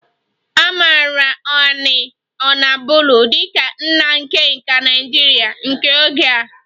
A maara Aina onabolu dị ka nna nke nka Naịjirịa nke oge a